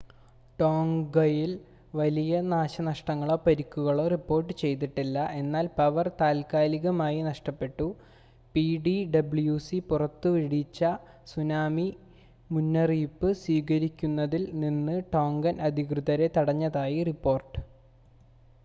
ടോംഗയിൽ വലിയ നാശനഷ്ടങ്ങളോ പരിക്കുകളോ റിപ്പോർട്ട് ചെയ്തിട്ടില്ല എന്നാൽ പവർ താൽക്കാലികമായി നഷ്ടപ്പെട്ടു പിടിഡബ്ല്യുസി പുറപ്പെടുവിച്ച സുനാമി മുന്നറിയിപ്പ് സ്വീകരിക്കുന്നതിൽ നിന്ന് ടോങ്കൻ അധികൃതരെ തടഞ്ഞതായി റിപ്പോർട്ട്